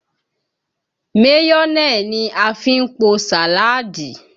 Mayonẹ ni a fi ń po sàálàdí